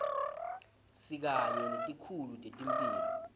sikanye netikhulu tetemphilo